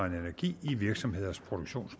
energi